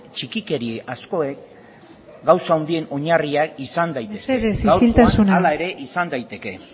txikikeria askoek gauza handien oinarria izan daitezke mesedez isiltasuna gaurkoan hala ere izan daiteke